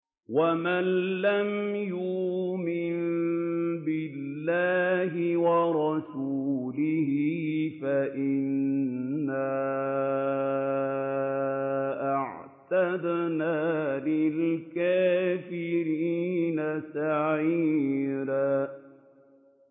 وَمَن لَّمْ يُؤْمِن بِاللَّهِ وَرَسُولِهِ فَإِنَّا أَعْتَدْنَا لِلْكَافِرِينَ سَعِيرًا